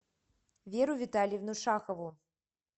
веру витальевну шахову